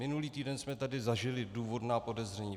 Minulý týden jsme tady zažili důvodná podezření.